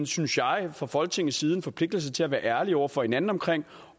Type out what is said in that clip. synes jeg fra folketingets side en forpligtelse til at være ærlige over for hinanden om